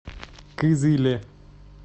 кызыле